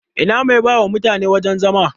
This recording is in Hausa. Ina mai bawa mutane wajan zama?